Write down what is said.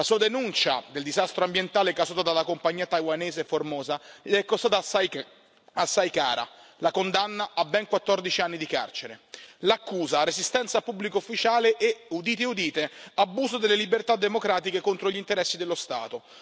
La sua denuncia del disastro ambientale causato dalla compagnia taiwanese Formosa gli è costata assai cara la condanna a ben 14 anni di carcere. L'accusa resistenza a pubblico ufficiale e, udite udite, abuso delle libertà democratiche contro gli interessi dello Stato.